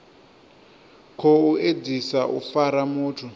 khou edzisa u fara muthu